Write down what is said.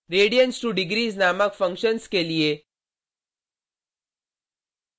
radians2degrees नामक functions के लिए